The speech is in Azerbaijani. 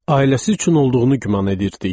Ailəsi üçün olduğunu güman edirdik.